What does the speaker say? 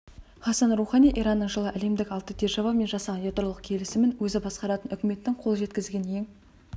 хассан роухани иранның жылы әлемдік алты державамен жасаған ядролық келісімін өзі басқаратын үкіметтің қол жеткізген ең